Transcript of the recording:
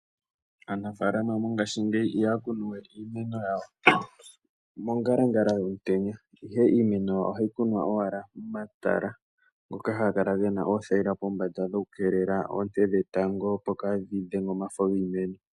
Aanafaalama mongaashingeyi ihaya kunu we iimeno yawo pongalangala yomutenya, ihe iimeno ohayi kunwa owala mokatala hoka haka kala kena othaila pombanda oku keelela oonte dhetango opo kaadhi dhenge omafo giimeno.